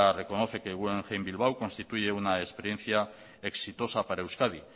reconoce que guggenheim bilbao constituye una experiencia exitosa para euskadi